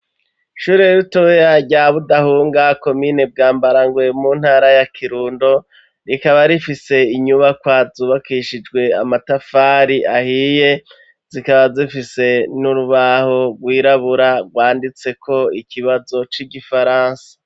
Ishure ritoya rya budahunga komine bwambarangwe mu ntara ya kirundo, rikaba rifise inyubakwa zubakishijwe amatafari ahiye zikaba zifise n'urubaho rw'irabura rwanditseko ikibazo c'igifaransa.